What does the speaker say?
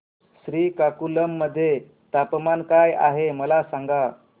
श्रीकाकुलम मध्ये तापमान काय आहे मला सांगा